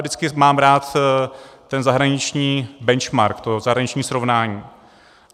Vždycky mám rád ten zahraniční benchmark, to zahraniční srovnání.